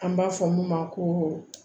An b'a fɔ mun ma ko